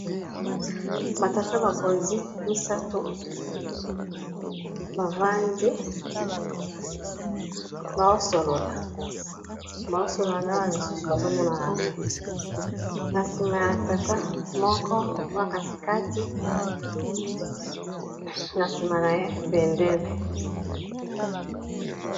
Batata bakonzi misato bavandi bazo solola, bazo solola na ba misusu bazomonana te, na sima ya tata moko oyo ya katikati na sima na ye eza na bendele.